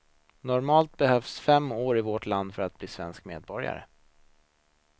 Normalt behövs fem år i vårt land för att bli svensk medborgare.